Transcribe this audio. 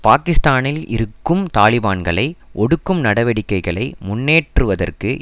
பாகிஸ்தானில் இருக்கும் தாலிபான்களை ஒடுக்கும் நடவடிக்கைகளை முன்னேற்றுவதற்கு